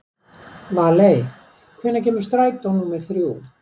Valey, hvenær kemur strætó númer þrjú?